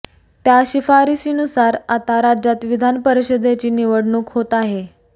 त्या शिफारशीनुसार आता राज्यात विधान परिषदेची निवडणूक होत आहे